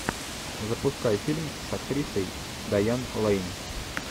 запускай фильм с актрисой даян лейн